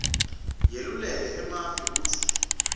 yeluleke emave kwekutsi